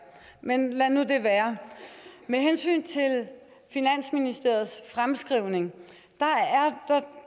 men lad nu det være med hensyn til finansministeriets fremskrivning